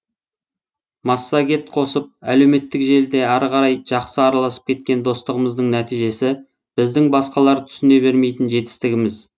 массагет қосып әлеуметтік желіде ары қарай жақсы араласып кеткен достығымыздың нәтижесі біздің басқалар түсіне бермейтін жетістігіміз